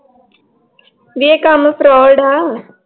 ਵੀ ਇਹ ਕੰਮ ਫਰੋਡ ਆ l